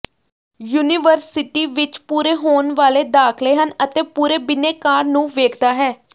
university ਵਿੱਚ ਪੂਰੇ ਹੋਣ ਵਾਲੇ ਦਾਖਲੇ ਹਨ ਅਤੇ ਪੂਰੇ ਬਿਨੈਕਾਰ ਨੂੰ ਵੇਖਦਾ ਹੈ